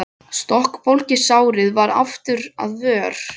Stokkbólgið sárið varð aftur að vör.